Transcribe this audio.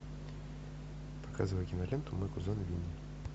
показывай киноленту мой кузен винни